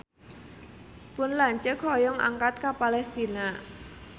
Pun lanceuk hoyong angkat ka Palestina